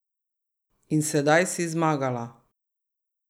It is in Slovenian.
In sedaj si zmagala.